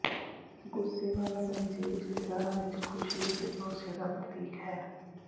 ਗੁੱਸੇ ਵਾਲਾ ਪੰਛੀ ਰਿਸ਼ਤੇਦਾਰਾਂ ਵਿਚ ਖੁਸ਼ੀ ਅਤੇ ਭਰੋਸੇ ਦਾ ਪ੍ਰਤੀਕ ਹੈ